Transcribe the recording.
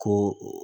Ko